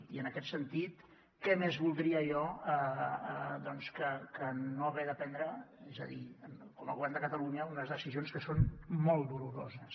i en aquest sentit què més voldria jo que no haver de prendre com a govern de catalunya unes decisions que són molt doloroses